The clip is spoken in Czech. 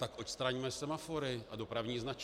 Tak odstraňme semafory a dopravní značky.